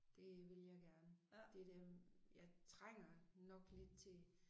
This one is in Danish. Det vil jeg gerne. Det det jeg trænger nok lidt til